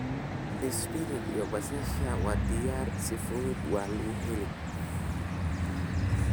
Spinach iyo basasha waa diyaar si fudhudhna waa laguhelaa.